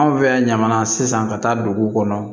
Anw fɛ yan ɲamana sisan ka taa duguw kɔnɔ